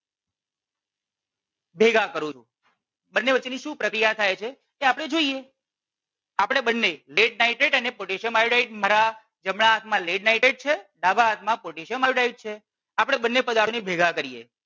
ભેગા કરું છું. બંને વચ્ચે ની શું પ્રક્રિયા થાય છે એ આપણે જોઈએ. આપણે બંને lead nitrate અને potassium iodide મારા જમણા હાથમાં lead nitrate છે ડાબા હાથમાં potassium iodide છે આપણે બંને પદાર્થો ને ભેગા કરીએ.